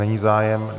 Není zájem.